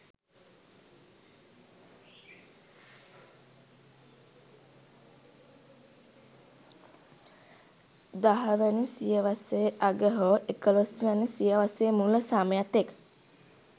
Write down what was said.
දහවැනි සියවසේ අග හෝ එකොළොස්වැනි සියවසේ මුල සමය තෙක්